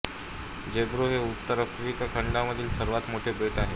Djerba हे उत्तर Africa खंडामधील सर्वात मोठे बेट आहे